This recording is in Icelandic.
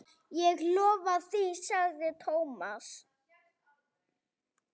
Ég lofa því sagði Thomas.